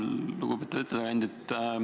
Lugupeetud ettekandja!